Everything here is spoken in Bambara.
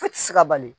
Foyi tɛ se ka bali